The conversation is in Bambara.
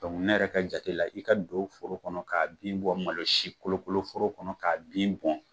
Dɔnku ne yɛrɛ ka jate la, i ka don foro kɔnɔ ka'a bin bɔ malo si kolo kolo foro kɔnɔ k'a bin bɔ.